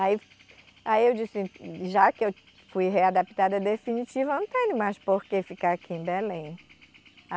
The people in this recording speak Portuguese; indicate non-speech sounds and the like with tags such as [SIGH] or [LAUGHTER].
Aí aí eu disse, já que eu fui readaptada definitiva, não tenho mais por que ficar aqui em Belém. [UNINTELLIGIBLE]